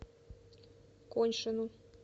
коньшину